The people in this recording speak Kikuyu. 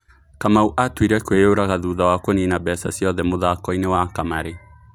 Kamau atuire itua kwĩyũraga thutha wa kũnina mbeca ciothe mũthakoinĩ wa kamarĩ.